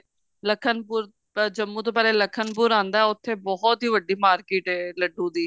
ਲਖਨਪੁਰ ਜੰਮੂ ਤੋਂ ਪਹਿਲੇ ਲਖਨਪੁਰ ਆਉਂਦਾ ਉੱਥੇ ਬਹੁਤ ਹੀ ਵੱਡੀ market ਹੈ ਲੱਡੂਆ ਦੀ